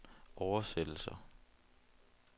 oversættelse